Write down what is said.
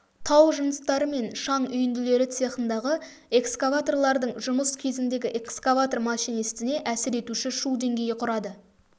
тау жыныстары және шаң үйінділері цехындағы экскаваторлардың жұмыс кезіндегі экскаватор машинистіне әсер етуші шу деңгейі құрады